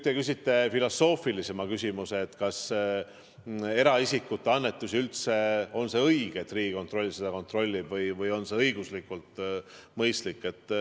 Te küsite filosoofilisema küsimuse, kas on üldse õige, et Riigikontroll eraisikute annetusi kontrollib või kas see on õiguslikult mõistlik.